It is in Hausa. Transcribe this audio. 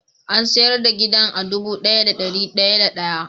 An sayar da gidan a dubu daya da dari daya da day.